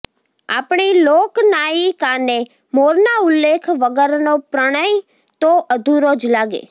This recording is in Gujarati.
આપણી લોકનાયિકાને મોરના ઉલ્લેખ વગરનો પ્રણય તો અધુરો જ લાગે